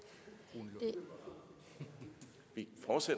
det ikke